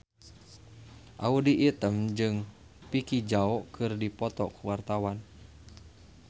Audy Item jeung Vicki Zao keur dipoto ku wartawan